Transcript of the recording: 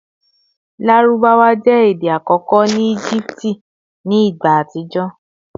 Larubawa jẹ ede akọkọ ni Egipti ni igba atijọ